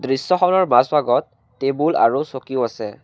দৃশ্যখনৰ মাজভাগত টেবুল আৰু চকীও আছে।